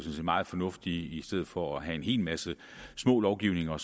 meget fornuftigt i stedet for at have en hel masse små lovgivninger